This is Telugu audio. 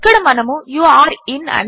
ఇక్కడ మనము యూరే ఇన్